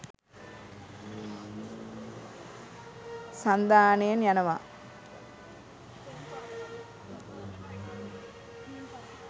සන්ධානයෙන් යනවා.